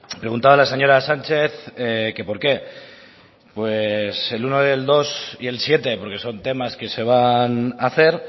preguntaba la señora sánchez que por qué pues el uno el dos y el siete porque son temas que se van a hacer